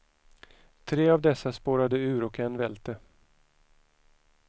Tre av dessa spårade ur och en välte.